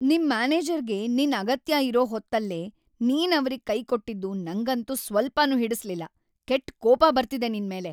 ನಿಮ್‌ ಮ್ಯಾನೇಜರ್‌ಗೆ ನಿನ್‌ ಅಗತ್ಯ ಇರೋ ಹೊತ್ತಲ್ಲೇ ನೀನವ್ರಿಗ್‌ ಕೈಕೊಟ್ಟಿದ್ದು ನಂಗಂತೂ ಸ್ವಲ್ಪನೂ ಹಿಡಿಸ್ಲಿಲ್ಲ, ಕೆಟ್ಟ್‌ ಕೋಪ ಬರ್ತಿದೆ ನಿನ್ಮೇಲೆ.